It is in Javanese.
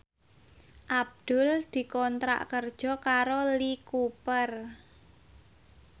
Abdul dikontrak kerja karo Lee Cooper